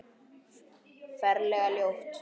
Ferlega ljót.